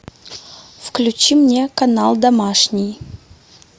включи мне канал домашний